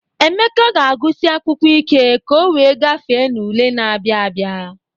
Emeka ga-agụsi akwụkwọ ike ka o wee gafee n'ule na-abịa abịa.